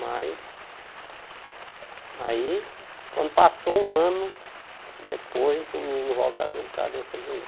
Mas aí, quando passou um ano, depois o menino volta a dor de cabeça de novo.